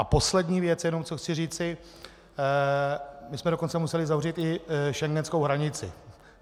A poslední věc jenom, co chci říci, my jsme dokonce museli zavřít i schengenskou hranici.